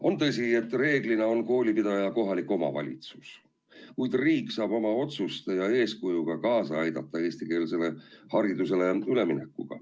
On tõsi, et reeglina on koolipidaja kohalik omavalitsus, kuid riik saab oma otsuste ja eeskujuga kaasa aidata eestikeelsele haridusele üleminekul.